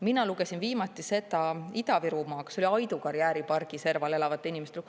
Mina lugesin viimati Ida-Virumaal Aidu karjääripargi serval elavate inimeste lugu.